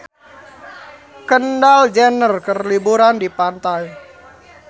Kendall Jenner keur liburan di pantai